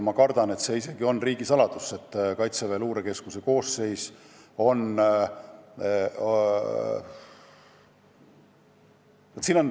Ma kardan, et see isegi on riigisaladus, tegu on ju Kaitseväe Luurekeskuse koosseisuga.